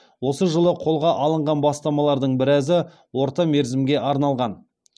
осы жылы қолға алынған бастамалардың біразы орта мерзімге арналған